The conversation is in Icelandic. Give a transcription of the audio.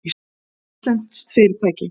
Það er íslenskt fyrirtæki.